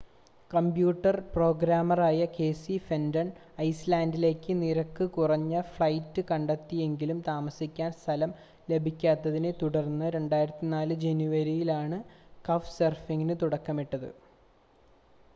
computer പ്രോഗ്രാമറായ Casey Fenton ഐസ്‌ലാൻഡിലേക്ക് നിരക്ക് കുറഞ്ഞ ഫ്ലൈറ്റ് കണ്ടെത്തിയെങ്കിലും താമസിക്കാൻ സ്ഥലം ലഭിക്കാത്തതിനെ തുടർന്ന് 2004 ജനുവരിയിലാണ് കഫ്‌സർഫിംഗിന് തുടക്കമിട്ടത്